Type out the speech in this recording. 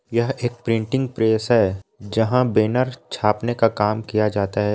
यहाँ एक printing press है जहाँ बैनर छापने का काम किया जाता है।